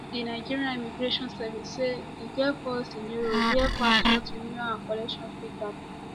di nigeria immigration service say e get four scenarios wia passport renewal and collection fit happun